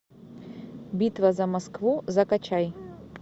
битва за москву закачай